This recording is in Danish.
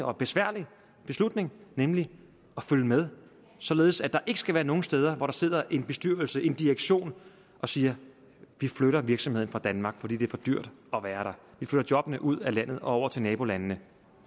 og besværlig beslutning nemlig at følge med således at der ikke skal være nogen steder hvor der sidder en bestyrelse eller en direktion og siger vi flytter virksomheden fra danmark fordi det er for dyrt at være der vi flytter jobbene ud af landet og over til nabolandene